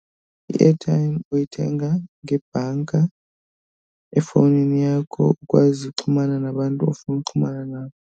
I-airtime uyithenga ngebhanka efowunini yakho ukwazi uxhumana nabantu ofuna uxhumana nabo.